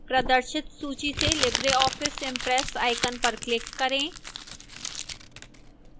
प्रदर्शित सूची से libreoffice impress icon पर click करें